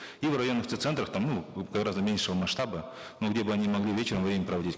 и в районных центрах там ну гораздо меньшего масштаба но где бы они могли вечером время проводить